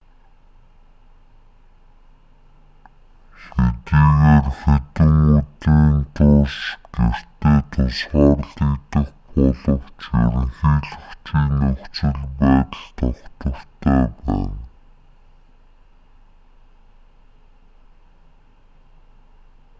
хэдийгээр хэдэн өдрийн турш гэртээ тусгаарлагдах боловч ерөнхийлөгчийн нөхцөл байдал тогтвортой байна